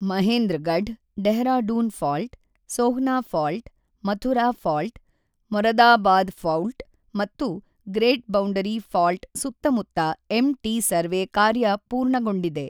Mahendragarh, Dehradun fault, Sohna fault, Mathura fault, Moradabad fault ಮತ್ತು great boundary fault ಸುತ್ತಮುತ್ತ ಎಂಟಿ ಸರ್ವೆ ಕಾರ್ಯ ಪೂರ್ಣಗೊಂಡಿದೆ.